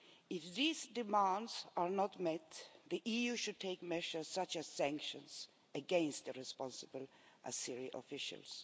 If these demands are not met, the EU should take measures such as sanctions against the responsible Azeri officials.